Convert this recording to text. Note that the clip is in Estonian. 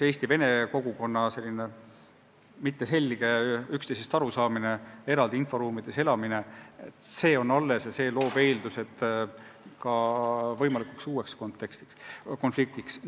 Eesti vene kogukonna mitteselge üksteisest arusaamine, eraldi inforuumides elamine – see on alles ja see loob eeldused ka võimalikuks uueks konfliktiks.